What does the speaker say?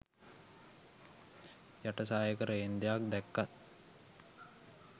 යට සායක රේන්දයක් දැක්කත්